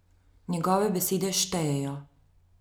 Njegove besede štejejo.